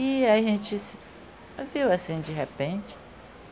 E a gente se viu assim de repente.